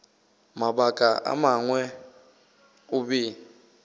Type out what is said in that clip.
mabaka a mangwe o be